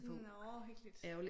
Nåh hyggeligt